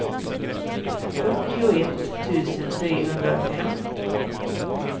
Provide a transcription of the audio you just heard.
fyrtioett tusen trehundrafem